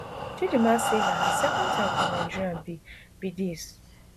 chidimma say na her second time for nigeria be be dis